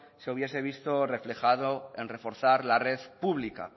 se hubiese visto reflejado en reforzar la red pública